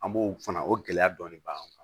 An b'o fana o gɛlɛya dɔɔni b'an kan